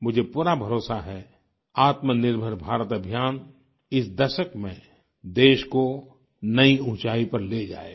मुझे पूरा भरोसा है आत्मनिर्भर भारत अभियान इस दशक में देश को नई ऊँचाई पर ले जाएगा